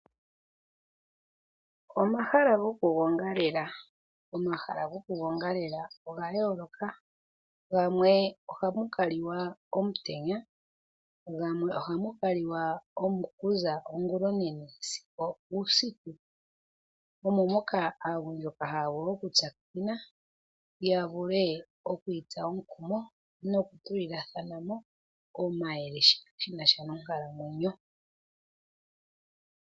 Omahala goku gongalela. Omahala goku gongalela oga yooloka gamwe ohamù kaliwa omutenya gamwe ohamu kaliwa okuza ongula onene sigo uusiku. Omo moka aagundjuka haya vulu oku tsakanena ,yavule itsa omukumo noku itulilemo omayele shinasha nonkalamwenyo .